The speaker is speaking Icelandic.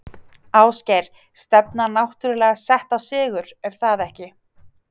Ásgeir: Stefnan náttúrulega sett á sigur, er það ekki?